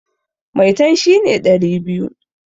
Maitan shi ne ɗari biyu.